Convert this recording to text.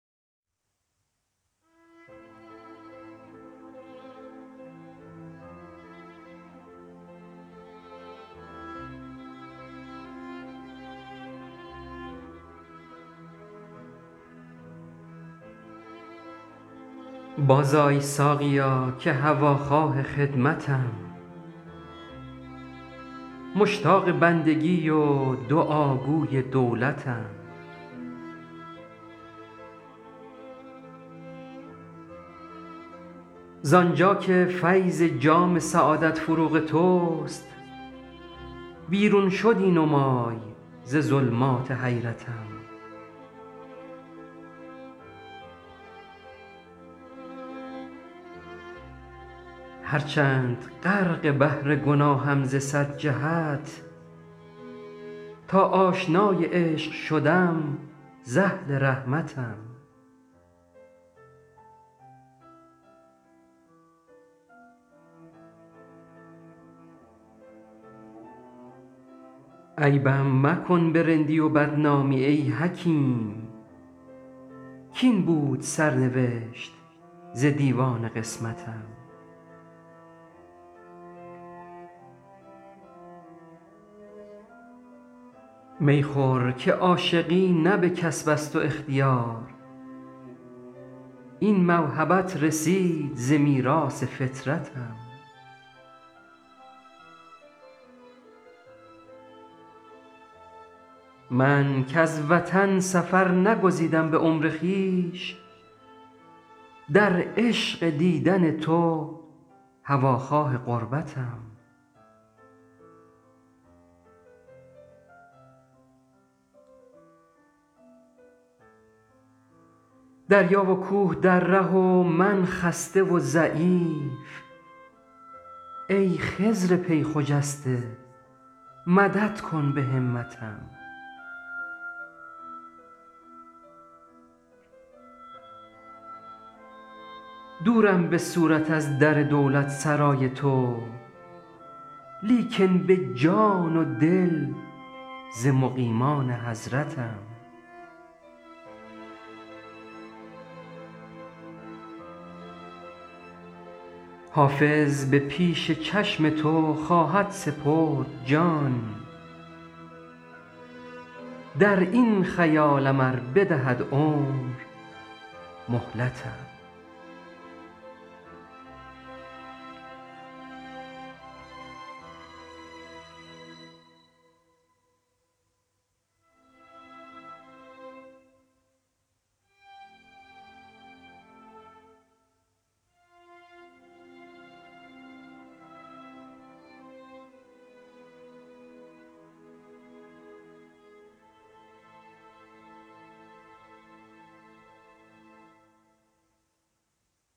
بازآی ساقیا که هواخواه خدمتم مشتاق بندگی و دعاگوی دولتم زان جا که فیض جام سعادت فروغ توست بیرون شدی نمای ز ظلمات حیرتم هرچند غرق بحر گناهم ز صد جهت تا آشنای عشق شدم ز اهل رحمتم عیبم مکن به رندی و بدنامی ای حکیم کاین بود سرنوشت ز دیوان قسمتم می خور که عاشقی نه به کسب است و اختیار این موهبت رسید ز میراث فطرتم من کز وطن سفر نگزیدم به عمر خویش در عشق دیدن تو هواخواه غربتم دریا و کوه در ره و من خسته و ضعیف ای خضر پی خجسته مدد کن به همتم دورم به صورت از در دولتسرای تو لیکن به جان و دل ز مقیمان حضرتم حافظ به پیش چشم تو خواهد سپرد جان در این خیالم ار بدهد عمر مهلتم